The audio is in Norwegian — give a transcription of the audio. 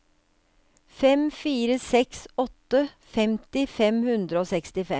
fem fire seks åtte femti fem hundre og sekstifem